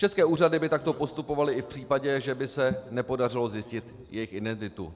České úřady by takto postupovaly i v případě, že by se nepodařilo zjistit jejich identitu.